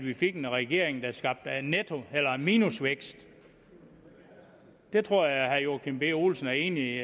vi fik en regering der skabte minusvækst det tror jeg at herre joachim b olsen er enig